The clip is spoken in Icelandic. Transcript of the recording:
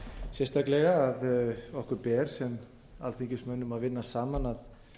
sérstaklega að okkur ber sem alþingismönnum að vinna saman að